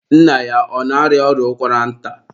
nna ya ọ na-arịa ọrịa ụkwara nta?